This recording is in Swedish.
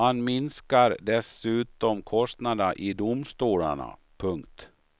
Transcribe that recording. Man minskar dessutom kostnaderna i domstolarna. punkt